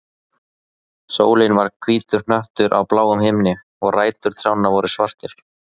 Sólin var hvítur hnöttur á bláum himni, og rætur trjánna voru svartar.